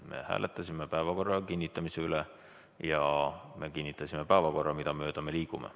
Me hääletasime päevakorra kinnitamise üle ja me kinnitasime päevakorra, mida mööda me nüüd liigume.